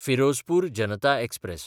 Firozpur Janata express